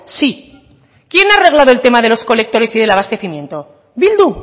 sí quién ha arreglado el tema de los colectores y del abastecimiento bildu